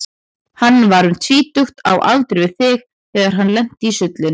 Hann var um tvítugt, á aldur við þig, þegar hann lenti í sullinu.